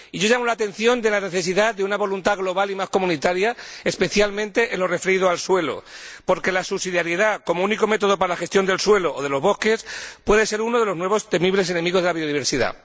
Y yo quiero llamar la atención sobre la necesidad de una voluntad global y más comunitaria, especialmente en lo referido al suelo, porque la subsidiariedad como único método para la gestión del suelo o de los bosques puede ser uno de los nuevos temibles enemigos de la biodiversidad.